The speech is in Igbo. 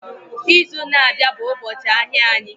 Izu na-abịa bụ ụbọchị ahịa anyị